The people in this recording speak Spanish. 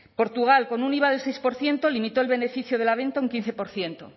portugal con un iva del seis por ciento limitó el beneficio de la venta un quince por ciento